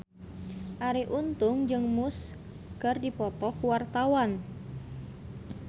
Arie Untung jeung Muse keur dipoto ku wartawan